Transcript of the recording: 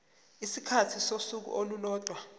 isikhathi sosuku olulodwa